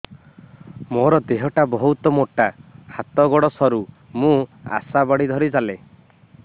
ମୋର ଦେହ ଟା ବହୁତ ମୋଟା ହାତ ଗୋଡ଼ ସରୁ ମୁ ଆଶା ବାଡ଼ି ଧରି ଚାଲେ